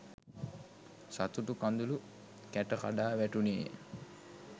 සතුටු කඳුළු කැට කඩා වැටුණේය.